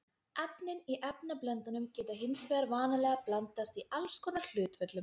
Efnin í efnablöndunum geta hins vegar vanalega blandast í alls konar hlutföllum.